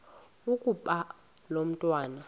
ukuba lo mntwana